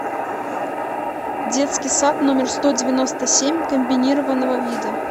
детский сад номер сто девяносто семь комбинированного вида